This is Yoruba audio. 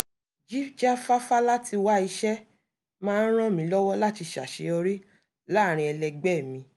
jíjáfáfá láti wá iṣẹ́ máa ń ràn mí lọ́wọ́ láti ṣàseyorí láàrín ẹlẹgbẹ́ẹ̀ mi